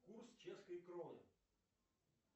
курс чешской кроны